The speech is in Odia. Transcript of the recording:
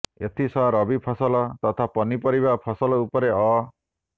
ଏଥିସହ ରବି ଫସଲ ତଥା ପନି ପରିବା ଫସଲ ଉପରେ ଅ